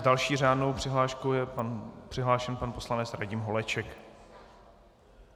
S další řádnou přihláškou je přihlášen pan poslanec Radim Holeček.